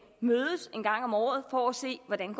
en gang om året for at se hvordan